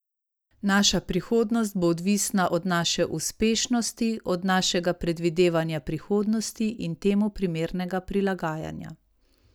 Naša prihodnost bo odvisna od naše uspešnosti, od našega predvidevanja prihodnosti in temu primernega prilagajanja.